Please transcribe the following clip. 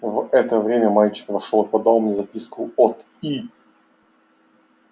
в это время мальчик вошёл и подал мне записку от и